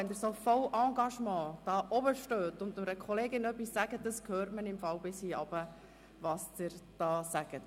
Wenn Sie voller Engagement dort oben stehen und zu einer Kollegin sprechen, hört man bis hier unten, was Sie sagen.